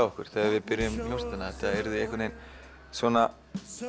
okkar þegar við byrjuðum hljómsveitina að þetta yrði einhvern veginn svona